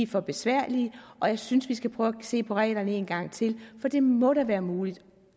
for besværlige og jeg synes at vi skal prøve at se på reglerne en gang til for det må da være muligt